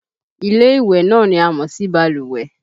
Ilé ìwẹ̀ náà ni a mọ̀ sí balùwẹ̀